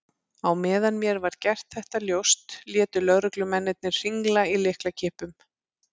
Á meðan mér var gert þetta ljóst létu lögreglumennirnir hringla í lyklakippum.